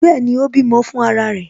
Bẹẹni, ó bímọ fún ara rẹ̀